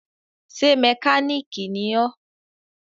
Ṣé mẹkáníìkì ni ọ́?